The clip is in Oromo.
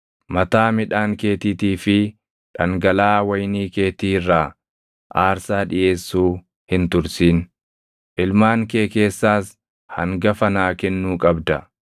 “Mataa midhaan keetiitii fi dhangalaʼaa wayinii keetii irraa aarsaa dhiʼeessuu hin tursin. “Ilmaan kee keessaas hangafa naa kennuu qabda.